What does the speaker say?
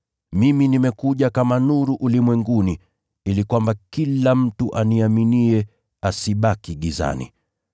Mimi nimekuja kama nuru ulimwenguni, ili kwamba kila mtu aniaminiye asibaki gizani.